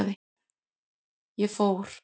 Ég fór.